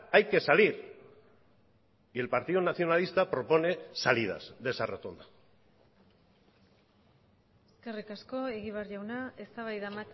hay que salir y el partido nacionalista propone salidas de esa rotonda eskerrik asko egibar jauna eztabaida